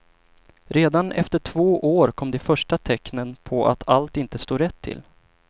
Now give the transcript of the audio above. Redan efter två år kom de första tecknen på att allt inte stod rätt till.